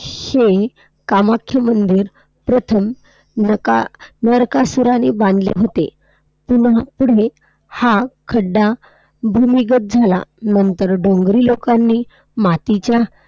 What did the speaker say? हे कामाख्या मंदिर प्रथम नका~ नरकासुराने बांधले होते. पुन्हा पुढे हा खड्डा भूमिगत झाला. नंतर डोंगरी लोकांनी मातीच्या